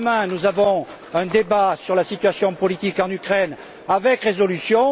Demain, nous aurons un débat sur la situation politique en Ukraine avec des résolutions.